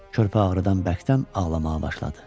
Körpə ağrıdan bərkdən ağlamağa başladı.